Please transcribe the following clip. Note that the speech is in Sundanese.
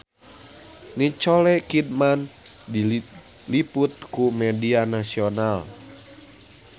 Nicole Kidman diliput ku media nasional